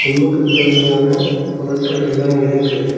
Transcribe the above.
ஜிம்முக்கு தேவையான பொருட்கள் எல்லா இருக்கு.